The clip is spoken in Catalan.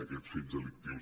aquests fets delictius